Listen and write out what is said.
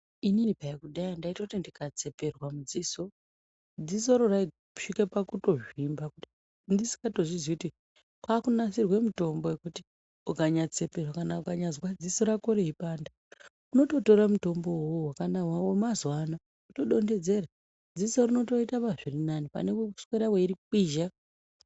Inini peya kudhaya ndaitoti ndikatseperwa mudziso, dzisoro raitosvike pakutozvimba kudai ndisingatozviziyi kuti kwakunasirwe mitombo yekuti ukanyatseperwa kana ukanyazwa dziso rako reipanda unototora mutombowo uwowo wamazuwana wotodonhedzera dziso rinotoita zvirinani pane kuswera weiri kwizha.